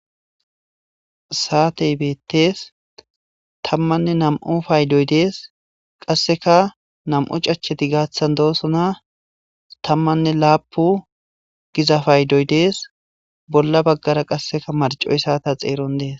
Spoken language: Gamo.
Saatey beetees. Tammanne nam'u paydoy beetees. Qasseka nam'u cachcheti gaathan doosona. Qasseka tammanne laapun giza paydoy dees. Bolla baggara qasseka marccoy saata xeeron dees.